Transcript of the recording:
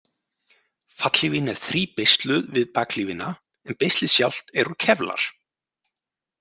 Fallhlífin er þríbeisluð við bakhlífina en beislið sjálft er úr kevlar.